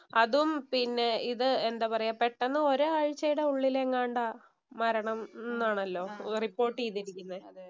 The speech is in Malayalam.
അതും പിന്നെ ഇത് എന്താ പറയാ പെട്ടെന്ന് ഒരാഴ്ചയുടെ ഉള്ളിൽ എങ്ങാണ്ടാ മരണം എന്നാണല്ലോ റിപ്പോര്‍ട്ട് ചെയ്തിരിക്കുന്നത്.